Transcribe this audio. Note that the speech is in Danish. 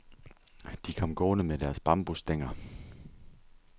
De kom gående med deres bambusstænger.